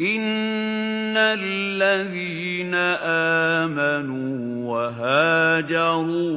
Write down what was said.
إِنَّ الَّذِينَ آمَنُوا وَهَاجَرُوا